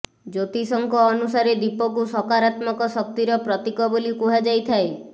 ଜ୍ୟୋତିଷଙ୍କ ଅନୁସାରେ ଦୀପକୁ ସକରାତ୍ମକ ଶକ୍ତିର ପ୍ରତୀକ ବୋଲି କୁହାଯାଇଥାଏ